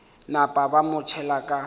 napa ba mo tšhela ka